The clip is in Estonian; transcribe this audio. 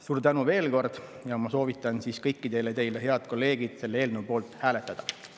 Suur tänu veel kord ja ma soovitan siis kõikidel teil, head kolleegid, selle eelnõu poolt hääletada.